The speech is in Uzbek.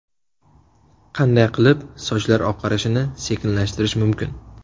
Qanday qilib sochlar oqarishini sekinlashtirish mumkin?.